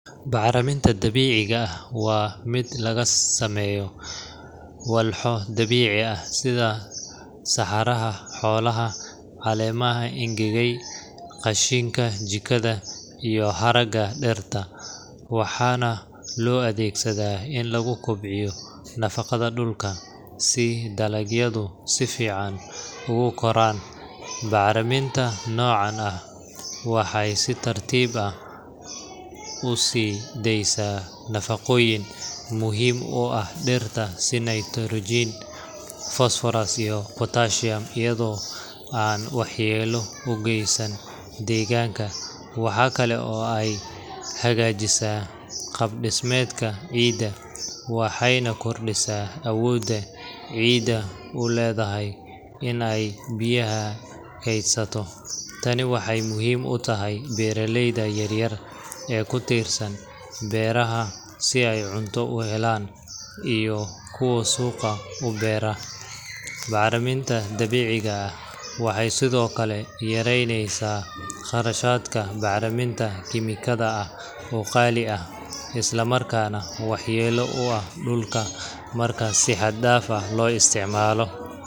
Bacriminta dabiiciga ah waa mid laga sameeyo walxo dabiici ah sida saxarada xoolaha, caleemaha engegay, qashinka jikada, iyo haraaga dhirta, waxaana loo adeegsadaa in lagu kobciyo nafaqada dhulka si dalagyadu si fiican ugu koraan. Bacriminta noocan ah waxay si tartiib tartiib ah u sii daysaa nafaqooyin muhiim u ah dhirta sida nitrogen, phosphorus, iyo potassium, iyadoo aan waxyeello u geysan deegaanka. Waxa kale oo ay hagaajisaa qaab-dhismeedka ciidda, waxayna kordhisaa awoodda ciiddu u leedahay in ay biyaha kaydsato. Tani waxay muhiim u tahay beeraleyda yar yar ee ku tiirsan beeraha si ay cunto u helaan iyo kuwo suuqa u beera. Bacriminta dabiiciga ah waxay sidoo kale yaraynaysaa kharashka bacriminta kiimikada ah oo qaali ah, isla markaana waxyeello u leh dhulka marka si xad dhaaf ah loo isticmaalo.